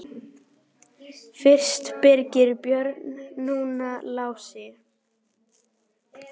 Fyrst Birgir Björn, núna Lási.